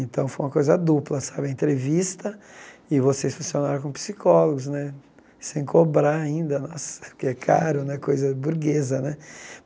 Então, foi uma coisa dupla sabe, a entrevista e vocês funcionaram como psicólogos né, sem cobrar ainda nossa, porque é caro né, coisa burguesa né.